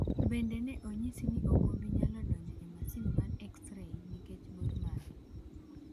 Bende, ne onyisi ni ok obi nyalo donjo e masin mar X-ray nikech bor mare.